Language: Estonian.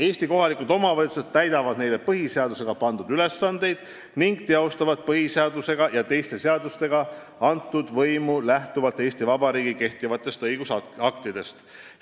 " Eesti kohalikud omavalitsused täidavad neile põhiseadusega pandud ülesandeid ning teostavad põhiseaduse ja teiste seadustega antud võimu lähtuvalt Eesti Vabariigi kehtivatest õigusaktidest.